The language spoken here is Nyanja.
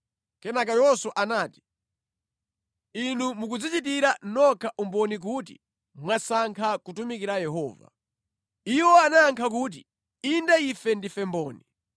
Kenaka Yoswa anati, “Inu mukudzichitira nokha umboni kuti mwasankha kutumikira Yehova.” Iwo anayankha kuti, “Inde ife ndife mboni.”